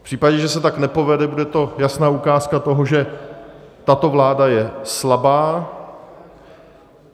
V případě, že se tak nepovede, bude to jasná ukázka toho, že tato vláda je slabá.